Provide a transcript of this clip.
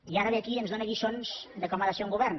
i ara ve aquí i ens dóna lliçons de com ha de ser un govern